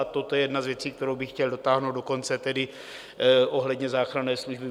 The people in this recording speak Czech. A toto je jedna z věcí, kterou bych chtěl dotáhnout do konce, tedy ohledně záchranné služby.